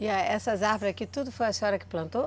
E essas árvores aqui, tudo foi a senhora quem plantou?